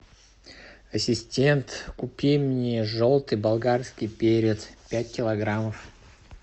ассистент купи мне желтый болгарский перец пять килограммов